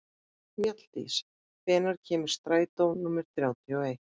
Mjalldís, hvenær kemur strætó númer þrjátíu og eitt?